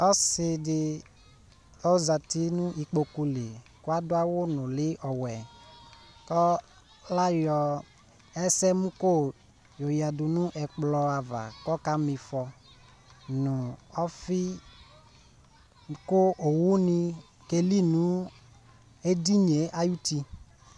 Ɔsɩ ɖɩ ozati nʋ ƙpoƙu li, ƙʋ aɖʋ awʋ nʋlɩ ɔwɛ L'aƴɔ ɛsɛmʋ ƙo ƴɔƴǝ ɖu ɛƙplɔ ava ƙʋ ɔka ma ɩfɔ nʋ ɔfɩ Ƙʋ owu ni aƙeli nʋ eɖinie aƴʋ uti